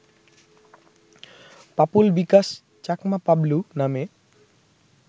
পাপুল বিকাশ চাকমা পাবলু নামে